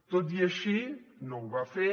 tot i així no ho va fer